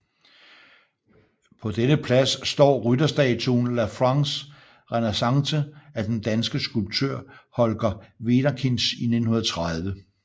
På denne plads står rytterstatuen La France renaissante af den danske skulptør Holger Wederkinch i 1930